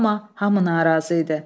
Amma hamı narazı idi.